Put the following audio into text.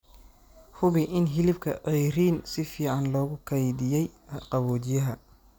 Hubi in hilibka ceeriin si fiican loogu kaydiyay qaboojiyaha.